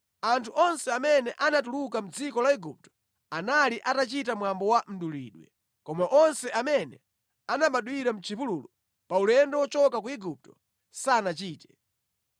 Anthu onse amene anatuluka mʼdziko la Igupto anali atachita mwambo wa mdulidwe, koma onse amene anabadwira mʼchipululu, pa ulendo wochoka ku Igupto, sanachite.